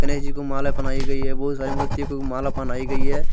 को माला पहनाई गई है बहु सारी मूर्ति को माला पहनाई गई है।